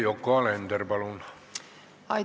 Yoko Alender, palun!